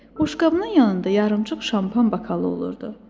Boşqabının yanında yarımçıq şampan bakalı olurdu.